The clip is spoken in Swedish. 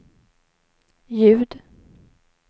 ljud